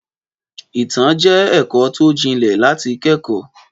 Ìtàn jẹ́ ẹ̀kọ́ tó jinlẹ̀ láti kẹ́kọ̀ọ́.